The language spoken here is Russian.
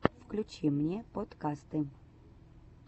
включи мне подкасты